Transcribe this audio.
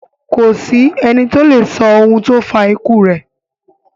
Kò sí ẹni to lè sọ ohun tó fa ikú rẹ̀.